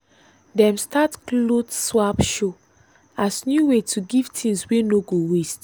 dem start cloth swap show as new way to give things wey no go waste.